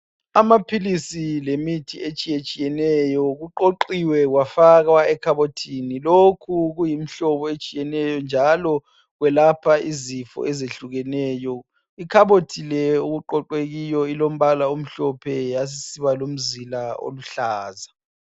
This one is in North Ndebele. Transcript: Amaphilisi lemithi etshiyetshiyeneyo kuqoqiwe kwafakwa ekhabothini. Lokhu kuyimhlobo etshiyeneyo njalo kwelapha izifo ezehlukeneyo. Ikhabothi le okuqoqwe kiyo, ilombala omhlophe yasisiba lomzila oluhlaza.